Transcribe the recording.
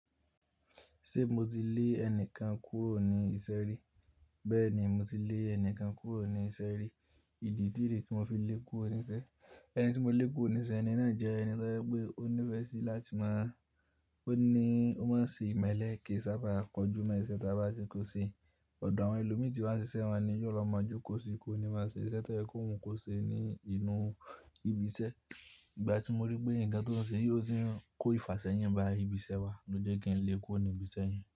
Ṣé mo ti lé ẹnìkan kúrò ní ìṣeré? Bẹ́ẹ̀ni mo ti lé ẹnìkan kúrò ní ìṣeré. Ìdí tí ìdí tí mo fi lé e kúrò níṣẹ́, ẹni tí mo lé kúrò níṣẹ́ ẹni náà jẹ́ ẹni tó jẹ pé ọ ní fẹ sí láti máa, ọ ní ọ máa se imẹ́lẹ̀ kii sábà kọjú mo isẹ̀ tá bá ni kó ṣe. Ọ̀dọ̀ àwọn ẹlòmíì tí wọ́n n ṣiṣẹ́ won ni yóò lọ máa jókòó síí kó ni máa ṣe iṣẹ́ tẹ́ye kó mú kó ṣe ní inú ibi iṣẹ́. Ìgbà tí mo rí pé ǹkan tó ń ṣe ò ti n kó ìfàṣẹ yin bá ibi iṣẹ́ wa lójo kin n lé e kúrò ní ibi iṣẹ́ yẹn.